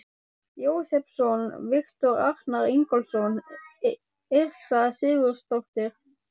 Jósepsson, Viktor Arnar Ingólfsson, Yrsa Sigurðardóttir og